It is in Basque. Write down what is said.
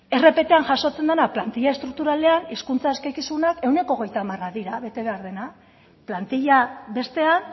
rptan jasotzen dena plantilla estrukturalean hizkuntza eskakizunak ehuneko hogeita hamar dira bete behar dena plantilla bestean